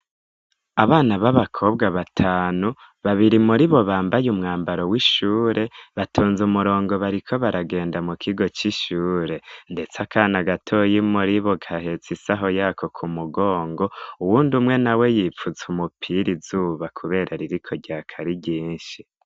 Abana b'abakobwa batanu babiri muribo bambaye umwambaro w'ishure batunze umurongo bariko baragenda mu kigo c'ishure, ndetse akana gatoyi muribo gahetsa isaho yako ku mugongo uwundi umwe na we yipfutse umupira izuba, kubera ririko rya kari rinshi.